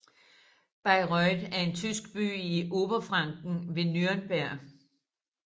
Bayreuth er en tysk by i Oberfranken ved Nürnberg